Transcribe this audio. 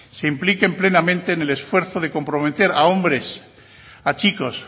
se impliquen plenamente en el esfuerzo de comprometer a hombres a chicos